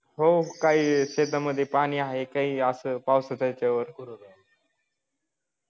हो काही शेतामध्ये पाणी आहे काही असं ह्या पावसाच्या च्यावर